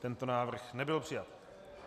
Tento návrh nebyl přijat.